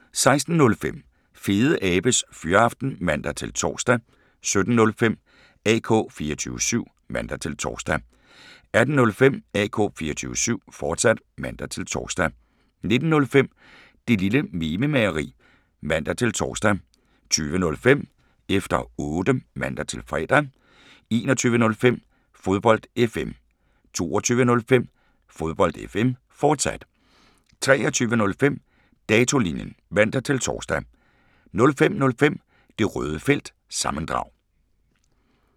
16:05: Fedeabes Fyraften (man-tor) 17:05: AK 24syv (man-tor) 18:05: AK 24syv, fortsat (man-tor) 19:05: Det Lille Mememageri (man-tor) 20:05: Efter Otte (man-fre) 21:05: Fodbold FM 22:05: Fodbold FM, fortsat 23:05: Datolinjen (man-tor) 05:05: Det Røde Felt – sammendrag